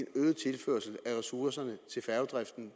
øget tilførsel af ressourcerne til færgedriften